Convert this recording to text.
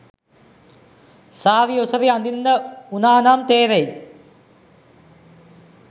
සාරි ඔසරි අදින්න වුනානම් තේරෙයි